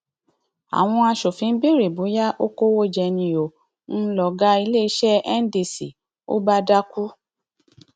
àwọn aṣòfin béèrè bóyá ó kówó jẹ ni ó ń lọgá iléeṣẹ ndco bá dákú